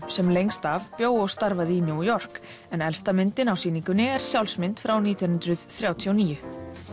sem lengst af bjó og starfaði í New York en elsta myndin á sýningunni er sjálfsmynd frá nítján hundruð þrjátíu og níu